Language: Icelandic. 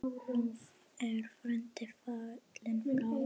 Nú er frændi fallinn frá.